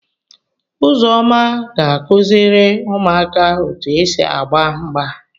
Uzoma ga akuziri umuaka otu esi agba mgba.